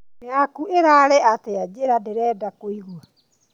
Yaku ĩrarĩ atĩa njĩra ndĩrenda kũigua